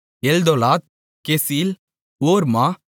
எல்தோலாத் கெசீல் ஓர்மா